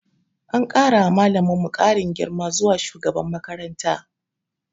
An kara wa malaminmu karin girma zuwa shugaban makaranta.